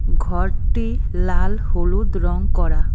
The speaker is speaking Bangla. ঘরটি লাল হলুদ রং করা।